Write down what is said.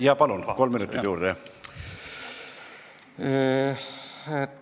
Jaa, palun, kolm minutit juurde!